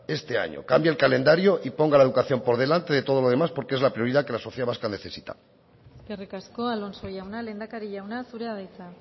cambie el calendario y ponga la educación por delante de todo lo demás porque es la prioridad que la sociedad vasca necesita eskerrik asko alonso jauna lehendakari jauna zurea da hitza